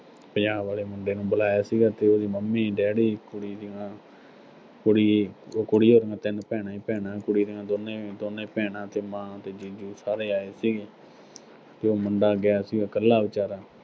ਪੰਜਾਬ ਆਲੇ ਮੁੰਡੇ ਨੂੰ ਬੁਲਾਇਆ ਸੀਗਾ, ਤੇ ਉਹਦੀ ਮੰਮੀ, ਡੈਡੀ, ਕੁੜੀ ਦੀਆਂ, ਕੁੜੀ ਅਹ ਉਹ ਕੁੜੀ ਵਰਗੀਆਂ ਤਿੰਨ ਭੈਣਾ ਈ ਭੈਣਾਂ, ਕੁੜੀ ਦੀਆਂ ਦੋਨੇਂ ਅਹ ਦੋਨੇ ਭੈਣਾਂ ਤੇ ਮਾਂ ਤੇ ਜੀਜੂ ਸਾਰੇ ਆਏ ਸੀਗੇ ਤੇ ਉਹ ਮੁੰਡਾ ਗਿਆ ਸੀਗਾ ਇਕੱਲਾ ਵਿਚਾਰਾ